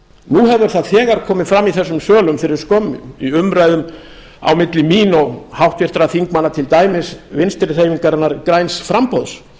hefur það þegar komið fram í þessum sölum fyrir skömmu í umræðum á milli mín og háttvirtra þingmanna til dæmis vinstri hreyfingarinnar græns framboðs